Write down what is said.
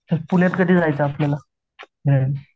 मग पुण्यात कधी जायचं आपल्याला